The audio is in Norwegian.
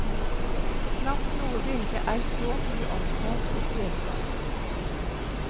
Knapt noe bilde er så mye omtalt og skrevet om.